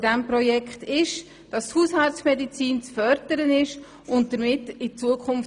Dieses Projekt fördert die Hausarztmedizin und investiert damit in die Zukunft.